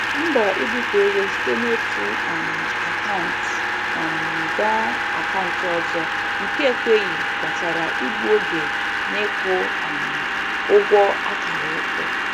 Mbọ ibufe ego site n'otu um akant um ga akant ọzọ nke ekweghị kpatara igbu oge n'ịkwụ um ụgwọ akara ịkwụ.